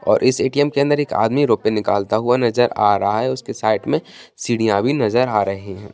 और इस ए.टी.एम. के अंदर एक आदमी रुपए निकालता हुआ नजर आ रहा है उसके साइड में सीढ़ियां भी नजर आ रही है।